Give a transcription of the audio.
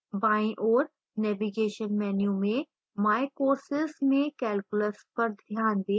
बाईं ओर navigation menu में my courses में calculus पर ध्यान दें